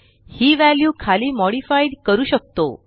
हि वॅल्यू खाली मॉडिफाइड करू शकतो